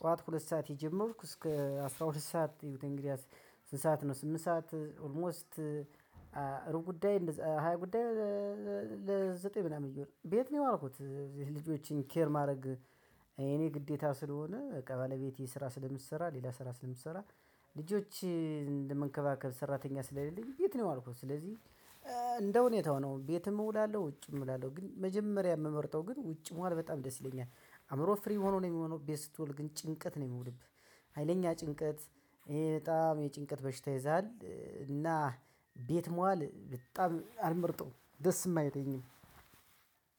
ጠዋት ሁለት ሰዓት የጀመርኩ እስከ አስራ ሁለት ሰዓት እዩት እንግዳስ? ስንት ሰዓት ነው? ስምንት ሰዓት ኦልሞስት ሩብ ጉዳይ ሃያ ጉዳይ። ለዘጠኝ ምናምን ቤት ነው የዋልኩት የት ልጆችን ኬር ማድረግ። የኔ ግዴታ ስለሆነ በቃ ባለቤቴ ስራ ስለምትሰራ ሌላ ስራ ስለምትሰራ። ልጆች ለመንከባከብ ሰራተኛ ስለሌለኝ ቤት ነው ያዋልኩት። ስለዚህ። እንደ ሁኔታው ነው ቤትም እውላለሁ ውጭም እውላለሁ። ግን መጀመሪያ የምመርጠው ግን ውጭ መዋል በጣም ደስ ይለኛል። አእምሮ ፍሪ ሆኖ ነው የሚውለው። ቤት ስትውል ግን ጭንቀት ነው የሚሆንብህ ሀይለኛ ጭንቀት። ይሄ በጣም የጭንቀት በሽታ ይይዛል እና። ቤት መዋል በጣም አልመርጠውም ደስም አይለኝም።